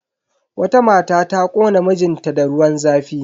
Wata mata ta kona mijin ta da ruwan zafi.